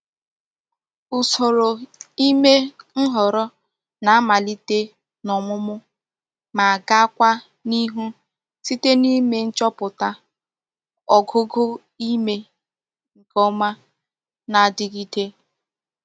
Usoro ime nhoro na-amalite n'omumu ma gaakwa n'ihu site n'ime nchoputa ogugo ime nke oma na-adigide.